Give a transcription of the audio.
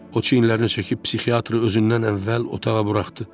O çiyinlərini çəkib psixiatrı özündən əvvəl otağa buraxdı.